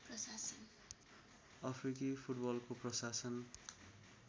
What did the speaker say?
अफ्रिकी फुटबलको प्रशासन